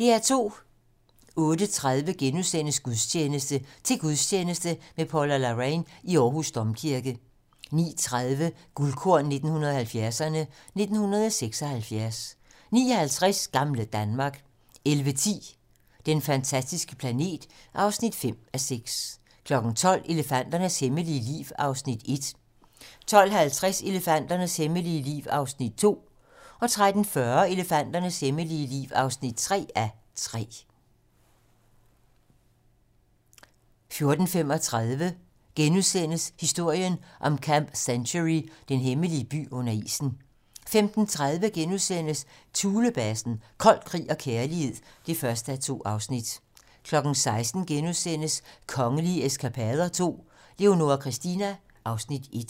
08:30: Gudstjeneste: Til gudstjeneste med Paula Larrain i Aarhus Domkirke * 09:30: Guldkorn 1970'erne: 1976 09:50: Gamle Danmark 11:10: Den fantastiske planet (5:6) 12:00: Elefanternes hemmelige liv (1:3) 12:50: Elefanternes hemmelige liv (2:3) 13:40: Elefanternes hemmelige liv (3:3) 14:35: Historien om Camp Century: Den hemmelige by under isen * 15:30: Thulebasen - kold krig og kærlighed (1:2)* 16:00: Kongelige eskapader II - Leonora Christina (Afs. 1)*